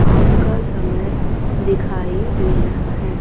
आम का समय दिखाई दे रहा है।